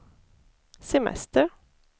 semester